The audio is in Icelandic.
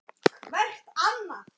Við urðum allir að fara.